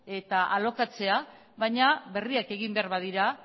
eta alokatzea baina berriak egin behar badira